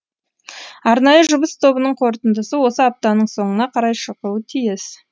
арнайы жұмыс тобының қорытындысы осы аптаның соңына қарай шығуы тиіс